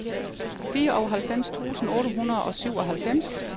fireoghalvfems tusind otte hundrede og syvoghalvfems